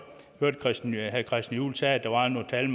at herre christian juhl sagde at der var nogle tal